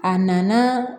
A nana